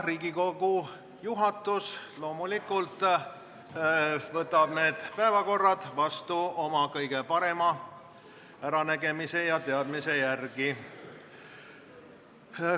Riigikogu juhatus võtab päevakorra vastu oma kõige parema äranägemise ja teadmise järgi.